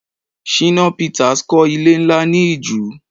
Shina Pitas kọ́ ilé nlá ni Ìju